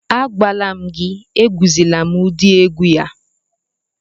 Agwala m gị, egwuzila ụdị egwu a